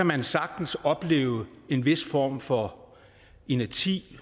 man sagtens opleve en vis form for inerti